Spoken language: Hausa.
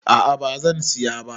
A'a bazan siya ba